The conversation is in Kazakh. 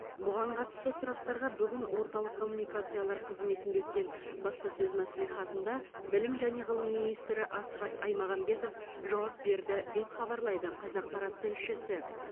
бұған қатысты сұрақтарға бүгін орталық коммуникациялар қызметінде өткен баспасөз мәслихатында білім және ғылым министрі асхат аймағамбетов жауап берді деп хабарлайды қазақпарат тілшісі